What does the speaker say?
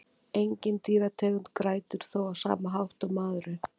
Engin dýrategund grætur þó á sama hátt og maðurinn.